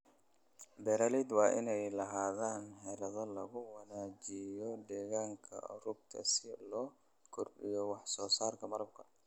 Beeralayda waa inay lahaadaan xeelado lagu wanaajinayo deegaanka rugta si loo kordhiyo wax soo saarka malabka.